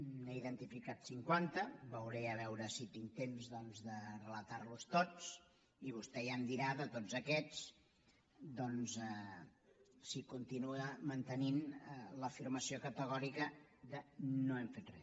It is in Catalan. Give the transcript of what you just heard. n’he identificat cinquanta veuré a veure si tinc temps doncs de relatar los tots i vostè ja em dirà de tots aquests si continua mantenint l’afirmació categòrica de no hem fet re